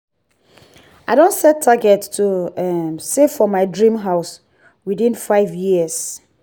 i don set target to um save for my dream house within five years.